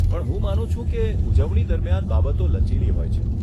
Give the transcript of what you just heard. પણ હું માનું છું કે ઉજવણી દરમિયાન બાબતો લચીલી હોય છે.